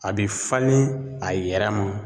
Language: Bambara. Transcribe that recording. A bi falen a yɛrɛ ma.